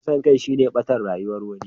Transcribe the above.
Kisan kai shine ɓatar rayuwar wani.